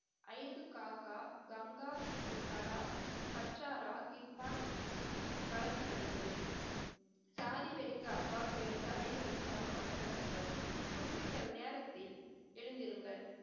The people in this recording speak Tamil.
ஐந்து காக்கா கங்கா, கடா, கட்சரா, இர்பான் வழக்கு நடைபெறும். ஜாதி வெறிக்கு அப்பால் உயர்ந்த அனைவரையும் சமமாக நடத்துவர். குறிப்பிட்ட நேரத்தில் எழுந்திருங்கள்.